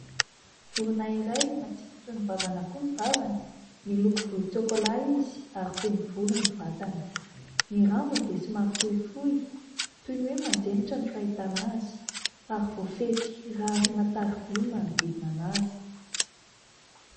Vorona iray, matsiko toy ny vavan'akoho ny vavany. Miloko volon-tsokolà izy, ary feno volo ny vatany. Ny rambony dia sy maro fohifohy, toy ny hoe manjenitra no fahitana azy, ary voafefy rarina tariby ny manodidina azy.